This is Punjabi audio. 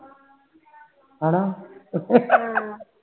ਹਨਾ